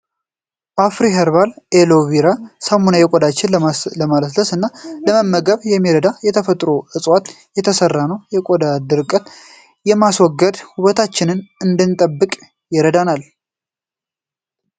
አፍሪ ሄርባል አሎ ቬራ ሳሙና ቆዳችንን ለማለስለስ እና ለመመገብ የሚረዳ ከተፈጥሮ እፅዋት የተሰራ ነው። የቆዳ ድርቀትን በማስወገድ ውበታችንን እንድንጠብቅ ይረዳል።